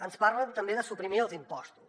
ens parlen també de suprimir els impostos